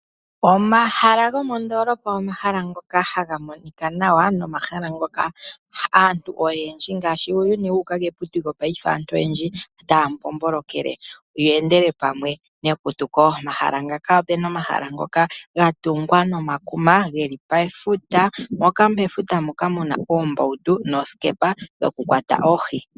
Omahala gomoondolopa omahala ngoka haga monika nawa. Nomahala ngoka aantu oyendji ngaashi uuyuni wuuka keputuko otaya mbombolokele yeendele pamwe neputuko. Omahala ngaka opuna omahala ngoka gatungwa nomakuma geli pefuta. Mefuta moka muna oombautu noosikepa dhokukwata oohi.